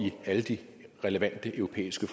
i alle de relevante europæiske